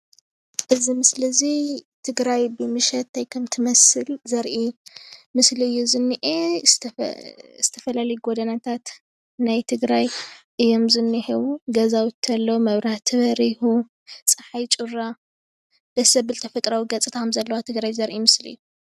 እዚ ምስሊ እዚ ትግራይ ብምሸት እንታይ ከም እትመስል ዘርኢ ምስሊ እዩ ዝኒአ ብምሸት ዝተፈላለዩ ጎደናታት ናይ ትግራይ እዮም ዝኒሀው ገዛውቲ ኣለው፣ መብራህቲ በሪሁ፣ ፀሓይ ጩራ ደስ ዝብል ተፈጥራዊ ትግራይ ዘርኢ ምስሊ እዩ፡፡